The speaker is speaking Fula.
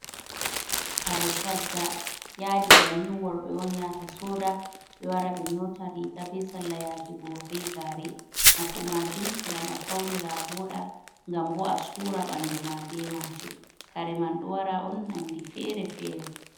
Kare shadda yadi bannin worɓe on yata soda ɓe wara ɓe nyota riga be salla yake go be gare, nafu majum gam a faunira avoɗa gam bo a sura ɓanduma ɓe majum kare man ɗo wara on nandi fere-fere.